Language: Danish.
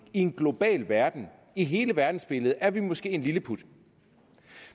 i en global verden i hele verdensbilledet er vi måske en lilleput